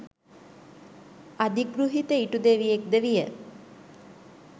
අධිගෘහිත ඉටුදෙවියෙක් ද විය.